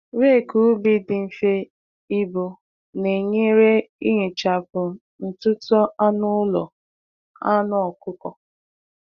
Rake ubi dị mfe ibu na-enyere ihichapụ ntutu anụ ụlọ anu okuko